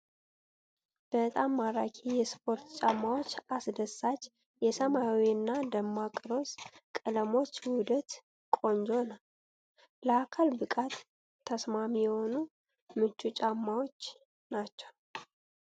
በጣም ማራኪ የስፖርት ጫማዎች! አስደሳች የሰማያዊ እና ደማቅ ሮዝ ቀለሞች ውህደት ቆንጆ ነው። ለአካል ብቃት ተስማሚ የሆኑ ምቹ ጫማዎች ናቸው።